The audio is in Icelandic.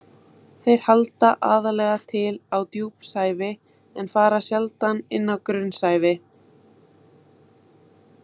Þeir halda aðallega til á djúpsævi en fara sjaldan inn á grunnsævi.